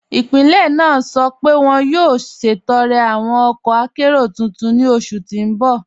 Ipílẹ̀ naa sọ́ pẹ̀ wọn yóò ṣẹtọ̀rẹ̀ awọn ọkọ̀ àkéró tuntun ni oṣù tí n bọ̀.